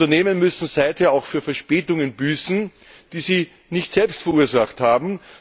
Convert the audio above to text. Unternehmen müssen seither auch für Verspätungen büßen, die sie nicht selbst verursacht haben.